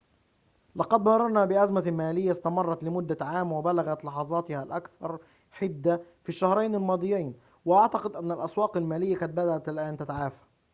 لقد مررنا بأزمة مالية استمرّت لمدة عام وبلغت لحظاتها الأكثر حدّة في الشهرين الماضيين وأعتقد أنّ الأسواق المالية قد بدأت الآن تتعافى